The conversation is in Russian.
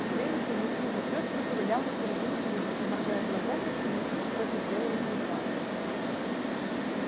приземистый неуклюжий пёс проковылял на середину круга и моргая глазами остановился против белого клыка